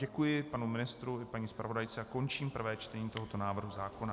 Děkuji panu ministru i paní zpravodajce a končím prvé čtení tohoto návrhu zákona.